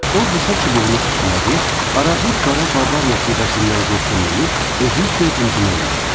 O qısa çubuğunu tüstülədir, arabir qara Bavariya pivəsindən qurtumlayıb, özü üçün zümzümə eləyirdi.